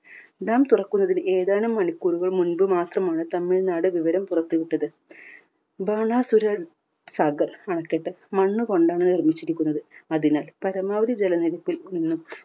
dam തുറക്കുന്നതിന് ഏതാനും മണിക്കൂറുകൾ മുൻപ് മാത്രമാണ് തമിഴ്നാട് വിവരം പുറത്തു വിട്ടത്. ബാണാസുര സാഗർ അണക്കെട്ട് മണ്ണ് കൊണ്ടാണ് നിർമിച്ചിരിക്കുന്നത്. അതിനാൽ പരമാവധി ജല നിരപ്പിൽ നിന്നും